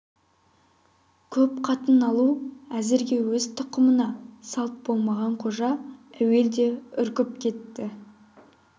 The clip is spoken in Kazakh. көп қатын алу әзірше өз тұқымына салт болмаған қожа әуелде үркіп кетті